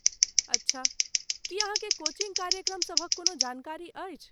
अच्छा, की अहाँकेेँ कोचिंग कार्यक्रम सभक कोनो जानकारी अछि?